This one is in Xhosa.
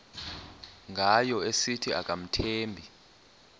ngayo esithi akamthembi